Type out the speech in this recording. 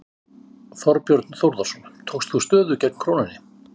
Þorbjörn Þórðarson: Tókst þú stöðu gegn krónunni?